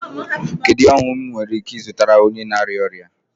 Kedu ihe ọṅụṅụ m nwere ike ịzụtara onye na arịa ọrịa?